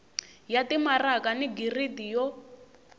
ya timaraka ni giridi yo